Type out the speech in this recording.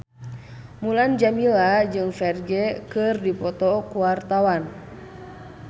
Mulan Jameela jeung Ferdge keur dipoto ku wartawan